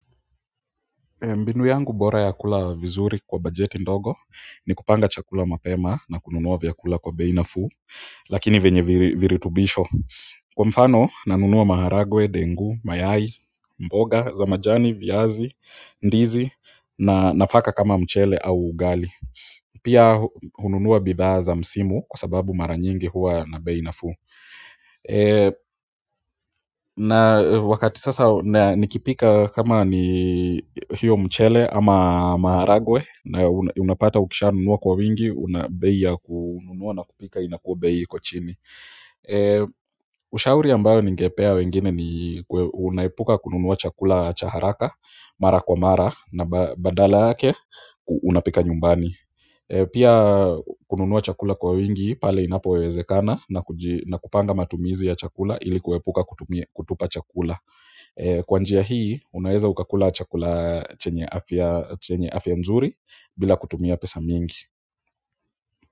Mbinu yangu bora ya kula vizuri kwa bajeti ndogo ni kupanga chakula mapema na kununuwa vyakula kwa bei nafuu lakini venye viritubisho kwa mfano nanunuwa maharagwe, dengu, mayai, mboga, za majani, viazi, ndizi na nafaka kama mchele au ugali pia hununua bidhaa za msimu kwa sababu mara nyingi huwa na bei nafuu na wakati sasa nikipika kama ni hiyo mchele ama maharagwe na unapata ukisha nunua kwa wingi una bei ya kununuwa na kupika inakuwa bei iko chini ushauri ambayo ningepea wengine ni unaepuka kununuwa chakula cha haraka mara kwa mara na baadala yake unapika nyumbani pia kununuwa chakula kwa wingi pale inapowezekana na kuji na kupanga matumizi ya chakula ilikuepuka kutupa chakula kwa njia hii unaeza ukakula chakula chenye afya nzuri bila kutumia pesa mingi.